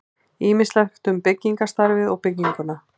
Ýmislegt um byggingarstarfið og bygginguna.